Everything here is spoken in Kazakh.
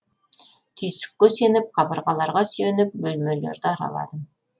түйсікке сеніп қабырғаларға сүйеніп бөлмелерді араладым